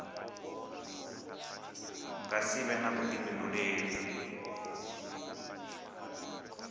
nga si vhe na vhuḓifhinduleli